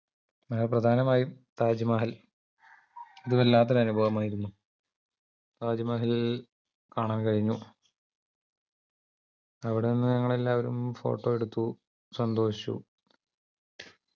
ആ പ്രധാനമായും താജ്മഹൽ അത് വല്ലാത്തൊരു അനുഭവമായിരുന്നു താജ്മഹൽ കാണാൻ കഴിഞ്ഞു അവിടെനിന്ന് ഞങ്ങൾ എല്ലാരും photo എടുത്തു സന്തോഷിച്ചു